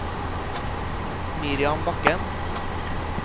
Miriam Bakken